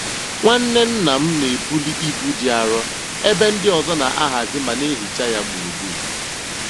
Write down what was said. Nwanne nna m n'ebuli ibu dị arọ ebe ndị ọzọ n'ahazi ma n'ehicha ya gburugburu.